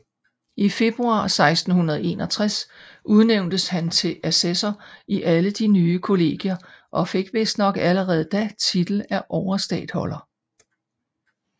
I februar 1661 udnævntes han til assessor i alle de nye kollegier og fik vistnok allerede da titel af overstatholder